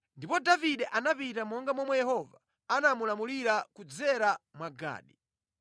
Ndipo Davide anapita monga momwe Yehova anamulamulira kudzera mwa Gadi.